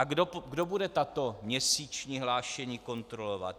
A kdo bude tato měsíční hlášení kontrolovat?